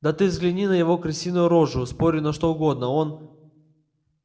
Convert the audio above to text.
да ты взгляни на его крысиную рожу спорю на что угодно он